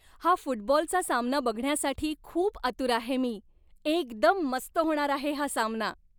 हा फुटबॉलचा सामना बघण्यासाठी खूप आतुर आहे मी! एकदम मस्त होणार आहे हा सामना.